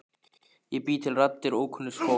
Ég bý til raddir ókunnugs fólks.